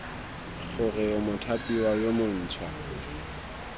gore o mothapiwa yo montšhwa